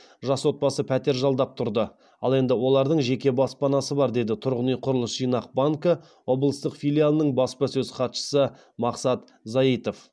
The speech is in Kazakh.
жас отбасы пәтер жалдап тұрды ал енді олардың жеке баспанасы бар деді тұрғын үй құрылыс жинақ банкі облыстық филиалының баспасөз хатшысы мақсат заитов